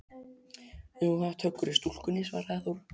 Jú, það er töggur í stúlkunni, svaraði Þóra.